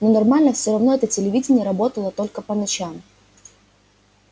но нормально всё равно это телевидение работало только по ночам